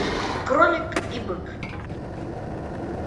кролик и бык